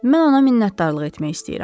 Mən ona minnətdarlıq etmək istəyirəm.